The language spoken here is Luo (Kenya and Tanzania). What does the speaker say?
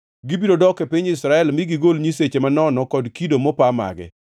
“Gibiro dok e piny Israel mi gigol nyiseche manono kod kido mopa mage.